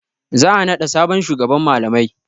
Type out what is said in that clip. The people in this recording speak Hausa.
Za a naɗa sabon shugaban malamai.